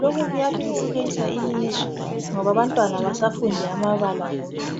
.Lokhu kuyathuthukisa ilizwe ngoba abantwana abasafundi amabala wodwa.